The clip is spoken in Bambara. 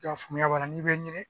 I Ka faamuya b'a la n'i be ɲini